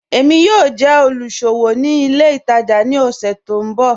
Èmi yóò jẹ́ olúṣọwò ní ilẹ̀ ìtaja ni ọṣù tì n bọ̀.